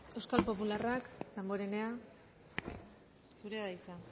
euskal popularrak danborrenea zurea da hitza